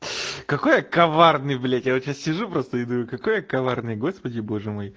какой я коварный блять я сейчас сижу просто и думаю какой я коварный господи боже мой